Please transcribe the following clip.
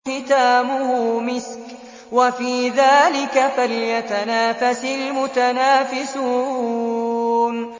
خِتَامُهُ مِسْكٌ ۚ وَفِي ذَٰلِكَ فَلْيَتَنَافَسِ الْمُتَنَافِسُونَ